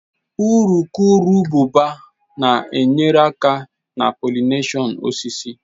Urukurububa na-enyere aka na pollination osisi.